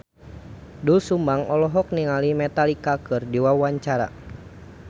Doel Sumbang olohok ningali Metallica keur diwawancara